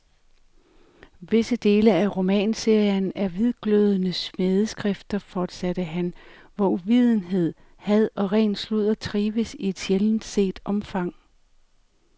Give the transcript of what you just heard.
Visse dele af romanserien er hvidglødende smædeskrifter, fortsatte han, hvor uvidenhed, had og ren sludder trives i et sjældent set omfang.